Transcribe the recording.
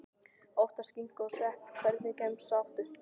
Oftast skinku og svepp Hvernig gemsa áttu?